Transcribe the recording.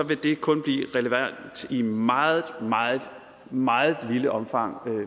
vil det kun blive relevant i meget meget meget lille omfang